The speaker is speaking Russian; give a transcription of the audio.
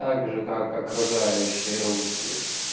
также как окружающие русские